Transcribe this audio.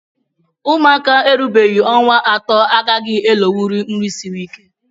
Ụmụaka erubeghị ọnwa atọ agaghị elonwunri nri siri ike